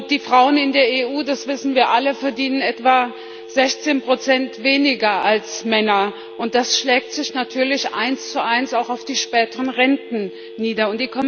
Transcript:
Die Frauen in der EU das wissen wir alle verdienen etwa 16 weniger als Männer, und das schlägt sich natürlich 11 auch auf die späteren Renten nieder.